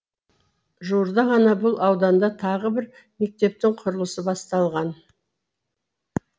жуырда ғана бұл ауданда тағы бір мектептің құрылысы басталған